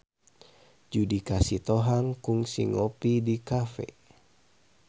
Judika Sitohang kungsi ngopi di cafe